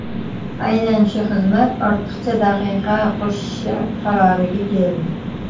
Aynan shu xizmat ortiqcha daqiqa qo‘shishi qaroriga keldi.